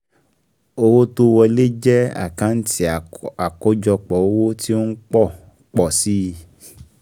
Owó tó wọlé jẹ́ àkántì àkọ́jọpọ̀ owó tí ó ń pọ̀ pọ̀ si